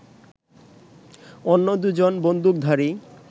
অন্য দু জন বন্দুকধারী